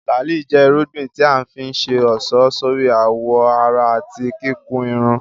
Làálí jẹ́ irúgbìn tí a fi ń ṣe ọ̀ṣọ́ sórí àwọ̀ ara àti kíkun irun